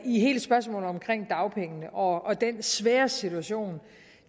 i hele spørgsmålet omkring dagpengene og den svære situation